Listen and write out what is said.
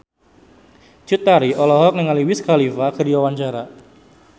Cut Tari olohok ningali Wiz Khalifa keur diwawancara